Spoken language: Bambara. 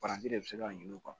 Paranti de bɛ se ka ɲin'u kan